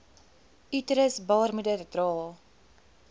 uterus baarmoeder dra